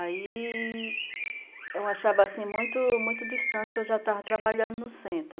Aí... eu achava assim, muito muito distante, que eu já estava trabalhando no centro.